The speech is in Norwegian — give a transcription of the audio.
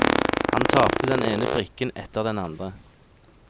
Han tapte den ene brikken etter den andre.